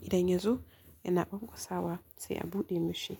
idan ya zo yana kwankwasawa sai a buɗe mashi.